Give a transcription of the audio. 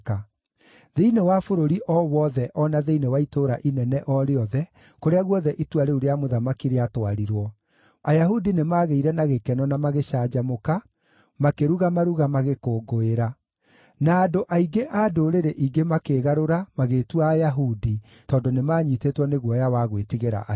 Thĩinĩ wa bũrũri o wothe o na thĩinĩ wa itũũra inene o rĩothe, kũrĩa guothe itua rĩu rĩa mũthamaki rĩatwarirwo, Ayahudi nĩmagĩire na gĩkeno na magĩcanjamũka, makĩruga maruga magĩkũngũĩra. Na andũ aingĩ a ndũrĩrĩ ingĩ makĩĩgarũra magĩĩtua Ayahudi tondũ nĩmanyiitĩtwo nĩ guoya wa gwĩtigĩra Ayahudi.